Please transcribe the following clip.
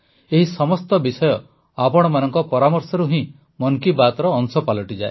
ଏହି ସମସ୍ତ ବିଷୟ ଆପଣମାନଙ୍କ ପରାମର୍ଶରୁ ହିଁ ମନ୍ କି ବାତ୍ର ଅଂଶ ପାଲଟିଯାଏ